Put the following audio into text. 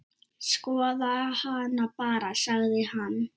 Skoðaðu hana bara, sagði hann.